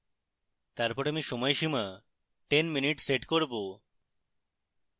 তারপর আমি সময় সীমা 10 mins set করব